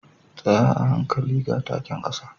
Tsaya hankali ga taken kasa